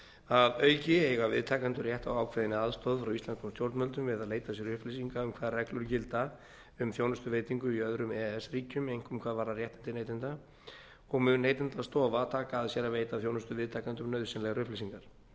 að auki eiga viðtakendur rétt á ákveðinni aðstoð frá íslenskum stjórnvöldum við að leita sér upplýsinga um hvaða reglur gilda um þjónustuveitingu í öðrum e e s ríkjum einkum hvað varðar réttindi neytenda og mun neytendastofa taka að sér að veita þjónustuviðtakendum nauðsynlegar upplýsingar